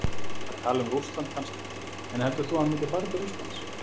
Það er tal um Rússland kannski, en heldur þú að hann myndi fara til Rússlands?